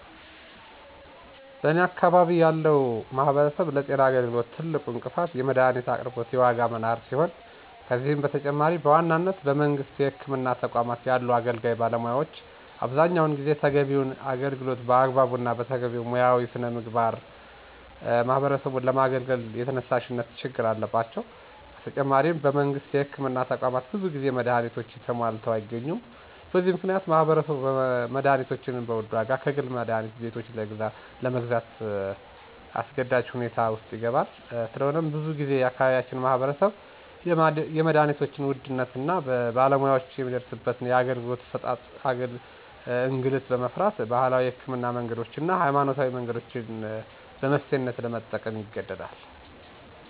በኔ አካባቢ ያለው ማህበረሰብ ለጤና አገልግሎት ትልቁ እንቅፋት የመድሀኒት አቅርቦት የዋጋ መናር ሲሆን ከዚህም በተጨማሪ በዋናነት በመንግስት የህክምና ተቋማት ያሉ አገልጋይ ባለሙያዎች አብዛኛውን ጊዜ ተገቢውን አገልግሎት በአግባቡ እና በተገቢው ሙያዊ ሥነ ምግባር ማህበረሰቡን ለማገልገል የተነሳሽነት ችግር አለባቸው። በተጨማሪም በመንግስት የህክምና ተቋማት ብዙ ጊዜ መድሀኒቶች ተሟልተው አይገኙም። በዚህ ምክንያት ማህበረሰቡ መድሀኒቶችን በውድ ዋጋ ከግል መድሀኒት ቤቶች ለግዛት አስገዳጅ ሁኔታ ውስጥ ይገባል። ስለሆነም ብዙ ጊዜ የአካባቢያችን ማህበረሰብ የመድሀኒቶችን ውድነት እና በባለሙያወችን የሚደርስበትን የአገልግሎት አሠጣጥ እንግልት በመፍራት ባህላዊ የህክምና መንገዶችን እና ሀይማኖታዊ መንገዶችን በመፍትሔነት ለመጠቀም ይገደዳል።